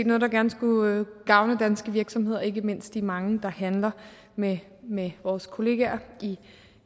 noget der gerne skulle gavne danske virksomheder ikke mindst de mange der handler med med vores kollegaer i